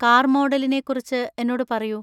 car മോഡലിനെ കുറിച്ച് എന്നോട് പറയൂ